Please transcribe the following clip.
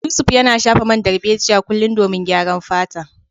Yusuf yana shafa man darbejiya kullum domin gyaran fata.